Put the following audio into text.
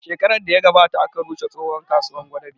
Shekarar da ya gabata aka rushe tsohon kasuwar gwadabe